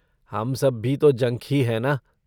हम सब भी तो जंक ही हैं ना?